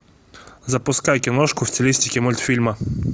запускай киношку в стилистике мультфильма